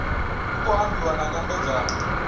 ku khou ambiwa na nyambedzano